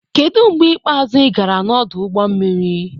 Kedu mgbe ikpeazụ ị gara n'ọdụ ụgbọ mmiri?